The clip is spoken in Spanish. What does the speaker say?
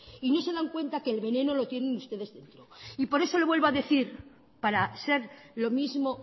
y no se dan cuenta que el veneno lo tienen ustedes dentro por eso le vuelvo a decir para ser lo mismo